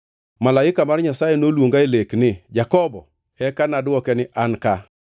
Malaika mar Nyasaye noluonga e lek ni, ‘Jakobo.’ Eka nadwoke ni, ‘An ka.’